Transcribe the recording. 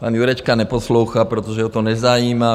Pan Jurečka neposlouchá, protože ho to nezajímá.